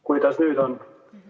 Kuidas nüüd on?